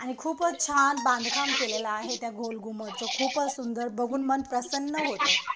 आणि खूपच छान बांधकाम केलेलं आहे त्या गोलघुमटच. खूपच सुंदर. बघून मन प्रसन्न होतं.